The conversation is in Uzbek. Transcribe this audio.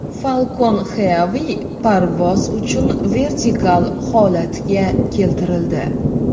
Falcon Heavy parvoz uchun vertikal holatga keltirildi .